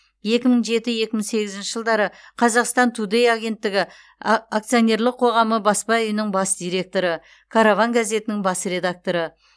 екі мың жеті екі мың сегізінші жылдары қазақстан тудэй агенттігі акционерлік қоғамы баспа үйінің бас директоры караван газетінің бас редакторы